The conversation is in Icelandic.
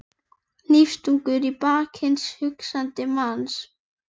Hnífstungur í bak hins hugsandi manns.